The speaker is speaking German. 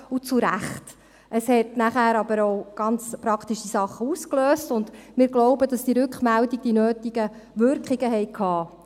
Dies löste danach aber auch ganz praktische Sachen aus, und wir glauben, dass diese Rückmeldungen die nötigen Wirkungen hatten.